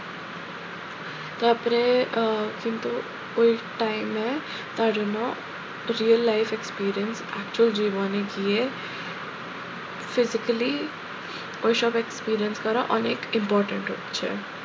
তারপরে আহ কিন্তু ওই time এ তার জন্য real life experience হচ্ছে জীবনে গিয়ে physically ওই সব experience দ্বারা অনেক important হচ্ছে।